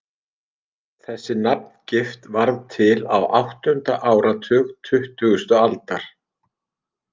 Þessi nafngift varð til á áttunda áratug tuttugustu aldar.